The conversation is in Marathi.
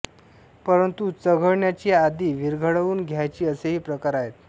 परंतु चघळण्याची आधी विरघळवून घ्यायची असेही प्रकार आहेत